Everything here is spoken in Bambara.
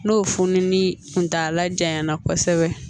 N'o fununin kuntala janya na kosɛbɛ